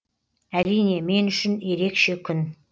әрине мен үшін ерекше күн